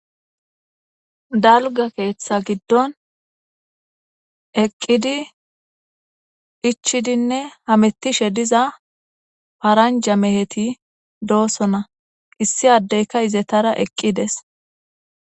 dalga keeththa giddon eqqidi ichidinne hamettishe diza paranja meheti doossona issi addeyka izetara eqqides